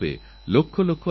লক্ষ্যথাকুক সোনাতে